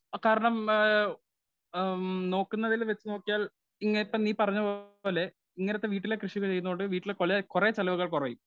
Speaker 1 ആ കാരണം ഏ ആ ആം നോക്കുന്നതിൽ വെച്ച് നോക്കിയാൽ ഇങ്ങനെ നീ പറഞ്ഞപോലെ ഇങ്ങനത്തെ വീട്ടിലെ കൃഷി ചെയ്തോണ്ട് വീട്ടിലെ പല കുറെ ചിലവുകൾ കുറയും.